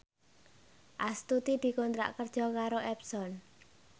Astuti dikontrak kerja karo Epson